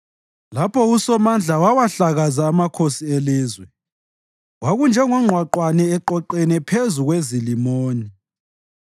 Lapho uSomandla wawahlakaza amakhosi elizwe, kwakunjengongqwaqwane eqoqene phezu kweZalimoni.